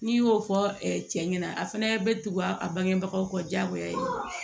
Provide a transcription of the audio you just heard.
N'i y'o fɔ cɛ ɲɛna a fɛnɛ be tugu a bangebagaw kɔ jagoya ye